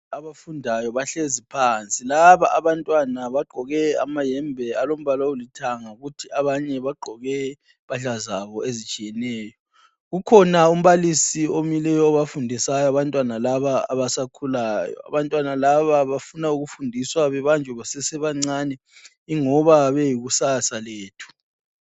Abafundayo bahlezi phansi, laba abantwana bagqoke amahembe alombala olithanga kuthi abanye bagqoke impahla zabo ezitshiyeneyo. Kukhona umbalisi omileyo obafundisayo abantwana laba abasakhulayo. Abantwana laba bafuna ukufundiswa bebanjwe besesebancane ingoba beyikusasa lethu.